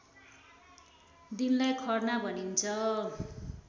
दिनलाई खर्ना भनिन्छ